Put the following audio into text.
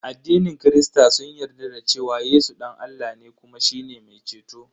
Addinin kirista sun yarda da cewa Yesu dan Allah ne kuma shine mai ceto.